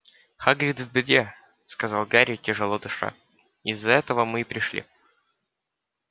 хагрид в беде сказал гарри тяжело дыша из-за этого мы и пришли